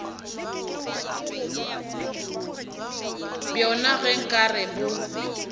bjona ge nka re bo